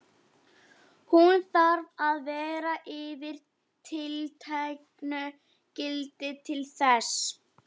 Hún þarf að vera yfir tilteknu gildi til þess.